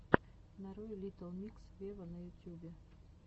нарой литтл микс вево на ютубе